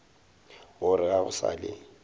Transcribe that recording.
gore ga go sa le